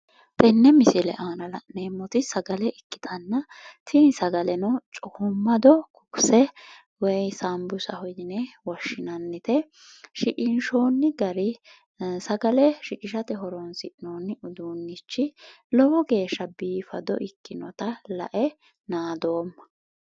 Tenne misile aana la'neemmoti sagale ikkitanna, tini sagaleno coommaddo ikkitanna woy saanbursaho yine woshshinannite shinqinshoonni gari sagale shiqishate horonsi'nonni uduunnichi lowo geeshsha biifado ikkasi lae naadoomma.